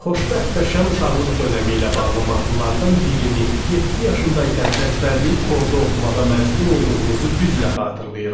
Xoşbəxt və şən uşaqlıq dönəmi ilə bağlı mahnılardan birini yeddi yaşında ikən əzbərləyib xorda oxumağa məcbur olduğumuzu güclə xatırlayıram.